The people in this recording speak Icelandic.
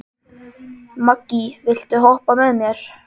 Maggý, viltu hoppa með mér?